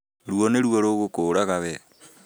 Ruo nĩruo rũgũkũraga wee